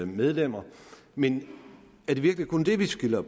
medlemmer men er det virkelig kun det der skiller